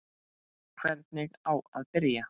Hvernig á að byrja?